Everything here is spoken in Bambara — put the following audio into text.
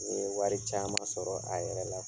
Ni ye wari caman sɔrɔ a yɛrɛ la.